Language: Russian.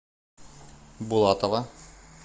булатова